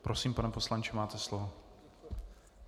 Prosím, pane poslanče, máte slovo.